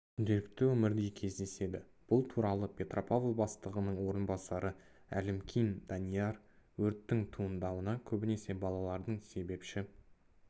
күнделікті өмірде кездеседі бұл туралы петропавл бастығының орынбасары әлімкин данияр өрттің туындауына көбінесе балалардың себепші